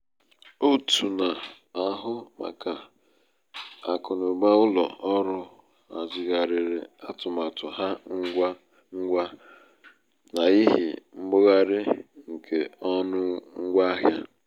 òtù na-ahụ màkà akụnaụba ụlọ ọrụ hazigharịrị atụmatụ ha ngwa ngwa n'ihi mbugharị nke ọnụ ngwa ahịa.